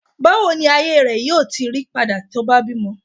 bawo ni ile ayé rẹ yíò tí ti pada to ba bímọ